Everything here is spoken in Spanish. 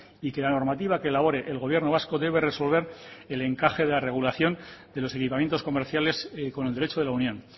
y que la normativa que elabore el gobierno vasco debe resolver el encaje de la regulación de los equipamientos comerciales con el derecho de la unión